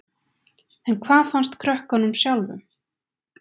En hvað fannst krökkunum sjálfum?